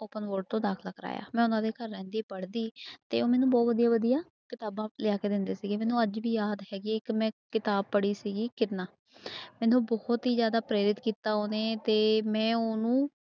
Open board ਤੋਂ ਦਾਖਲਾ ਕਰਵਾਇਆ ਮੈਂ ਉਹਨਾਂ ਦੇ ਘਰ ਰਹਿੰਦੀ ਪੜ੍ਹਦੀ ਤੇ ਉਹ ਮੈਨੂੰ ਬਹੁ ਵਧੀਆ ਵਧੀਆ ਕਿਤਾਬਾਂ ਲਿਆ ਕੇ ਦਿੰਦੇ ਸੀਗੇ ਮੈਨੂੰ ਅੱਜ ਵੀ ਯਾਦ ਹੈਗੀ ਹੈ ਇੱਕ ਮੈਂ ਕਿਤਾਬ ਪੜ੍ਹੀ ਸੀਗੀ ਕਿਰਨਾਂ ਮੈਨੂੰ ਬਹੁਤ ਹੀ ਜ਼ਿਆਦਾ ਪ੍ਰੇਰਿਤ ਕੀਤਾ ਉਹਨੇ ਤੇ ਮੈਂ ਉਹਨੂੰ